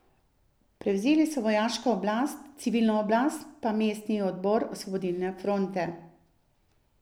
Prevzeli so vojaško oblast, civilno oblast pa mestni odbor Osvobodilne fronte.